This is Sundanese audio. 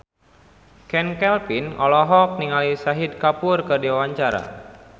Chand Kelvin olohok ningali Shahid Kapoor keur diwawancara